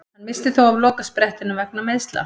Hann missti þó af lokasprettinum vegna meiðsla.